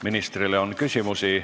Ministrile on küsimusi.